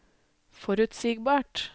forutsigbart